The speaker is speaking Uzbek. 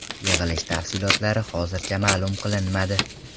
Yig‘ilish tafsilotlari hozircha ma’lum qilinmadi.